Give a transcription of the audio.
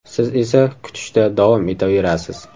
Siz esa kutishda davom etaverasiz.